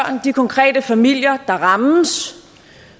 de konkrete familier der rammes